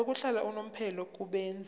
yokuhlala unomphela kubenzi